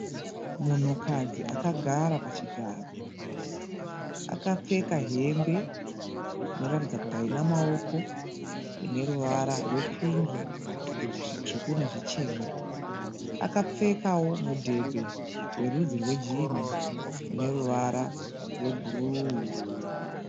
Munhukadzi akagara pachigaro. Akapfeka hembe inoratidza kuti haina maoko ineruvara rwepingi, zvitsvuku nezvichena. Akapfekawo mudhebhe werudzi rwejinhi uneruvara rwebhuruu.